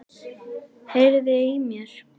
Heyriði í mér?